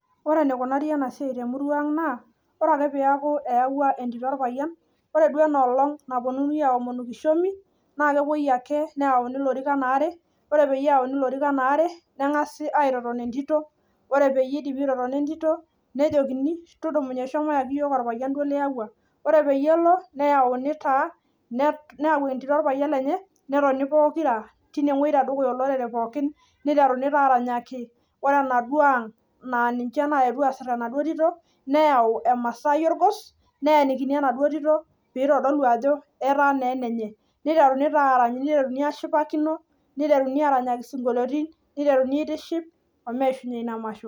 Ore enikunaari ena siai temurwa ang' naa ore ake peaku eyawua entito orpayian ore duo enoolong' napwonunui aaomonu kishomi naa kepwoi ake neyauni ilorikan aare, ore peyie eyauni ilorikan aare neng'asi aitoton entito, ore peyie idipi aitotona entito nejokini tudumunye shomo iyaki iyiok orpayian duo liyawua. Ore peyie elo neyauni taa, neyau entito orpayian lenye netoni pokira tenewuei tedukuya olorere pookin, niteruni taa aranyaki, ore enaduo ang' naa ninche naetwo asai enaduo tito neyau emasaai orgos, neenikini enaduo tito piitodolu ajo etaa taa enenye niteruni taa arany, niteruni aashipakino, niteruni aaranyaki isinkoliotin, niteruni airiship omeishunye ina masho